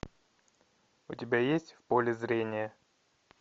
у тебя есть в поле зрения